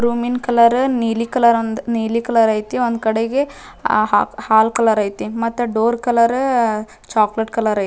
ರೂಮಿಂದ್ colour ನೀಲಿ colour ಒಂದ್ ನೀಲಿ ಕಲರ್ ಒಂದ್ಕಡೆಗೆ ಹಾ ಹಾಲ್ ಕಲರ್ ಐತಿ ಮತ್ತ ಡೋರ್ ಕಲರ್ ಚಾಕಲೇಟ್ ಕಲರ್ ಐತಿ.